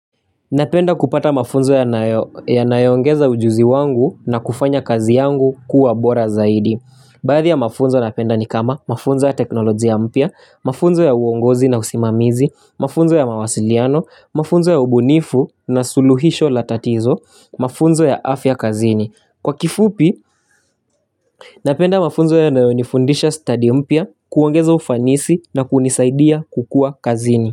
Napenda kupata mafunzo ya nayongeza ujuzi wangu na kufanya kazi yangu kuwa bora zaidi Baadhi ya mafunzo napenda ni kama mafunzo ya teknolojia mpya, mafunzo ya uongozi na usimamizi, mafunzo ya mawasiliano, mafunzo ya ubunifu na suluhisho latatizo, mafunzo ya afya kazini Kwa kifupi, napenda mafunzo ya nayonifundisha study mpya, kuongeza ufanisi na kunisaidia kukua kazini.